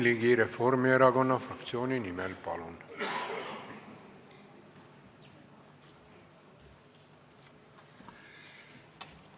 Jürgen Ligi Reformierakonna fraktsiooni nimel, palun!